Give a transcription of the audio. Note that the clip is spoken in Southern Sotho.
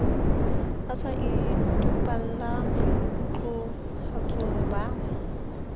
a sa topalla boikutlwahatsong ba